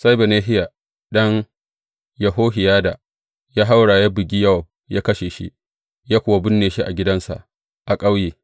Sai Benahiya ɗan Yehohiyada ya haura ya bugi Yowab, ya kashe shi, ya kuwa binne shi a gidansa a ƙauye.